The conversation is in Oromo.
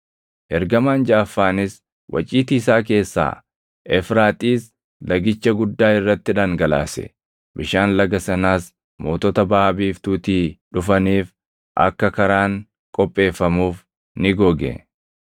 Ergamaan jaʼaffaanis waciitii isaa keessaa Efraaxiis lagicha guddaa irratti dhangalaase; bishaan laga sanaas mootota Baʼa Biiftuutii dhufaniif akka karaan qopheeffamuuf ni goge.